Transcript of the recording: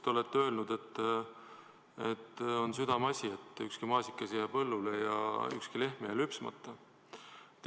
Te olete öelnud, et on südameasi, et ükski maasikas ei jääks põllule ja ükski lehm ei jääks lüpsmata.